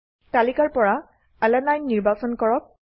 তালিকাৰ পৰা আলানিনে নিৰ্বাচন কৰক